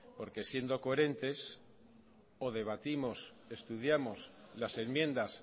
porque siendo coherentes o debatimos estudiamos las enmiendas